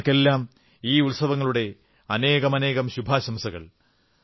ജനങ്ങൾക്കെല്ലാം ഈ ഉത്സവങ്ങളുടെ അനേകമനേകം ശുഭാശംസകൾ